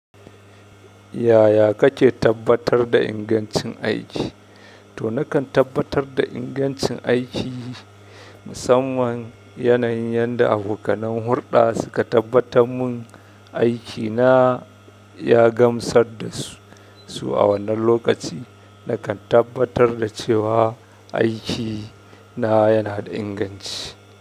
Yaya kake tabbatar da ingancin aiki? To nakan tabbatar da ingancin aiki, musamman yanayin yanda abokanai hurɗa suka tabbatar mun aikina ya gamsar da su a wannan lokaci. Nakan tabbatar da cewa aiki na yana da inganci.